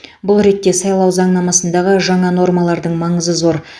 бұл ретте сайлау заңнамасындағы жаңа нормалардың маңызы зор